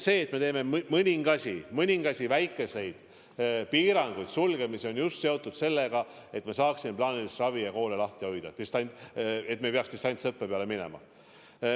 See, et me teeme mõningasi väikeseid piiranguid, sulgemisi, on just seotud sellega, et me saaksime plaanilist ravi ja koole lahti hoida, et me ei peaks distantsõppe peale minema.